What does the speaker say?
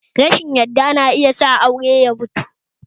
Rashin yadda na iya sa aure ya mutu